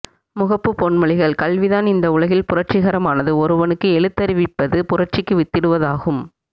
முகப்பு பொன்மொழிகள் கல்விதான் இந்த உலகில் புரட்சிகரமானது ஒருவனுக்கு எழுத்தறிவிப்பது புரட்சிக்கு வித்திடுவதாகும்